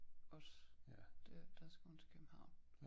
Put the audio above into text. Os der der skal hun til København